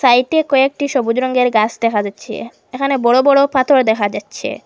সাইডে কয়েকটি সবুজ রঙ্গের গাস দেখা যাচ্ছে এখানে বড়ো বড়ো পাথর দেখা যাচ্ছে।